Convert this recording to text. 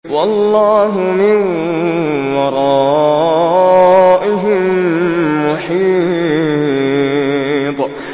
وَاللَّهُ مِن وَرَائِهِم مُّحِيطٌ